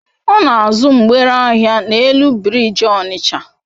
ona azu mgbere ahia n'elu biriji Onitsha